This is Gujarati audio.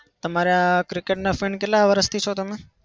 તમારા cricket ના fan કેટલા વરસથી છો તમે?